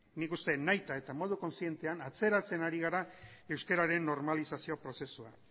nik uste nahita eta modu kozientean atzeratzen ari gara euskararen normalizazio prozesuan